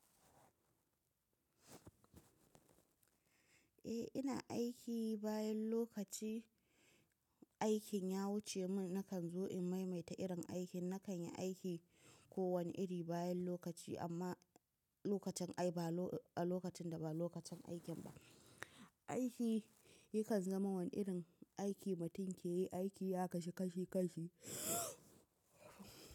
Eh ina aiki bayan lokaci, aikin ya wuce mun nakan zo in maimaita irin aikin, na kan yi aiki ko wani iri bayan lokaci amma lokacin ai ba a lokacin da ba lokacin aikin ba. Aiki yakan zama wani irin aiki mutum ke yi aiki ya kasu kashi kashi.